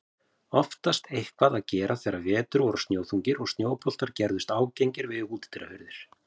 Oftast eitthvað að gera þegar vetur voru snjóþungir og snjóboltar gerðust ágengir við útidyrahurðir.